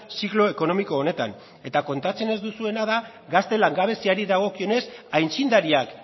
siglo ekonomiko honetan eta kontatzen ez duzuena da gazte langabeziari dagokionez aitzindariak